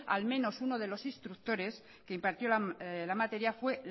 al menos uno de los instructores que impartió la materia fue